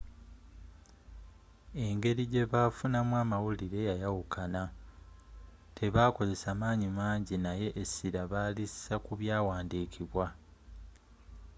engeri gyebafuna mu amawulire yayawukana tebakozesa manyi mangi naye esira balisa kubyawandiikibwa